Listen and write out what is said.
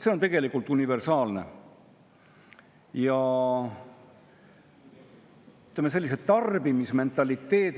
See on tegelikult universaalne, aga see mainitud tarbimismentaliteet